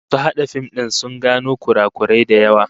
Masu hada fim din sun gano kurakurai da yawa